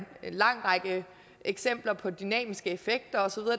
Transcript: lang række eksempler på dynamiske effekter og så